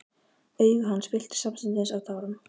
Augu hans fylltust samstundis af tárum.